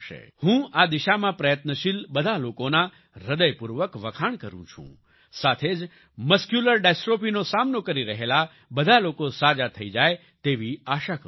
હું આ દિશામાં પ્રયત્નશીલ બધા લોકોના હ્રદયપૂર્વક વખાણ કરું છું સાથે જ મસ્ક્યુલર ડિસ્ટ્રોફી નો સામનો કરી રહેલા બધા લોકો સાજા થઈ જાય તેવી આશા કરું છું